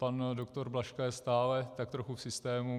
Pan doktor Blažka je stále tak trochu v systému.